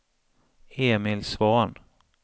Emil Svahn